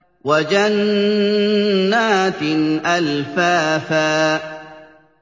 وَجَنَّاتٍ أَلْفَافًا